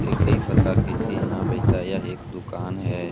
ये कई प्रकार के चीज यहाँ बेचता है यह एक दुकान है।